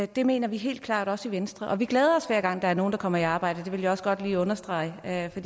det mener vi helt klart også i venstre og vi glæder os hver gang der er nogle der kommer i arbejde det vil jeg også godt lige understrege for